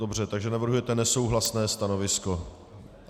Dobře, takže navrhujete nesouhlasné stanovisko.